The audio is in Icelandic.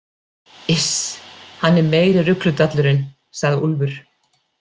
Iss, hann er meiri rugludallurinn, sagði Úlfur.